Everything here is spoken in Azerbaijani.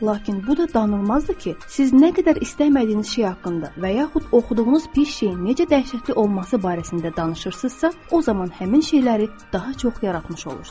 Lakin bu da danılmazdır ki, siz nə qədər istəmədiyiniz şey haqqında və yaxud oxuduğunuz bir şeyin necə dəhşətli olması barəsində danışırsınızsa, o zaman həmin şeyləri daha çox yaratmış olursunuz.